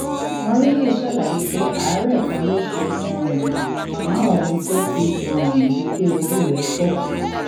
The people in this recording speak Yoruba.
mọrílì ṣàlàyé pé àárẹ kan ló ṣe um màmá òun tó fi um di pé ojú rẹ fọ